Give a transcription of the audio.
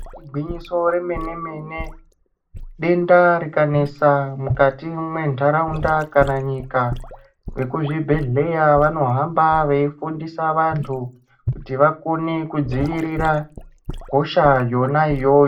Igwinyiso remene mene denda rikanesa mukati mwentharaunda kana nyika, vekuzvibhedhleya vanohamba veifundisa vanthu kuti vakone kudzivirira hosha yona iyoyo.